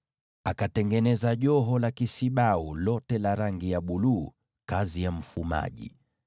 Akashona joho la kisibau lote kwa kitambaa cha rangi ya buluu tupu, kazi ya mfumaji,